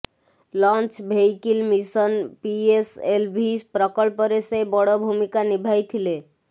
launch vehicle mission PSLV ପ୍ରକଳ୍ପରେ ସେ ବଡ ଭୂମିକା ନିଭାଇଥିଲେ